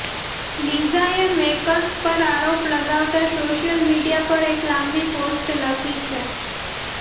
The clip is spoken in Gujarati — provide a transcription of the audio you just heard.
લીઝાએ મેકર્સ પર આરોપ લગાવતા સોશિયલ મીડિયા પર એક લાંબી પોસ્ટ લખી છે